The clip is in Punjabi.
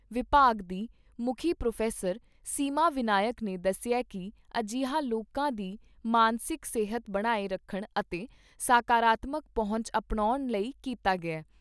ਵਿਭਾਗ ਦੀ ਮੁੱਖੀ ਪ੍ਰੋਫੈਸਰ ਸੀਮਾ ਵਿਨਾਇਕ ਨੇ ਦੱਸਿਆ ਕਿ ਅਜਿਹਾ ਲੋਕਾਂ ਦੀ ਮਾਨਸਿਕ ਸਿਹਤ ਬਣਾਏ ਰੱਖਣ ਅਤੇ ਸਕਾਰਾਤਮਕ ਪਹੁੰਚ ਅਪਣਾਉਣ ਲਈ ਕੀਤਾ ਗਿਆ ।